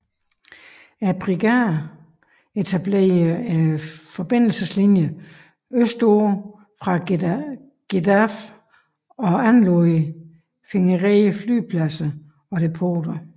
Brigaderne etablerede forbindelseslinjer østpå fra Gedaref og anlagde fingerede flyvepladser og depoter